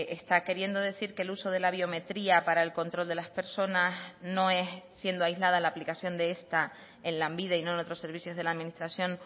está queriendo decir que el uso de la biometría para el control de las personas no es siendo aislada la aplicación de esta en lanbide y no en otros servicios de la administración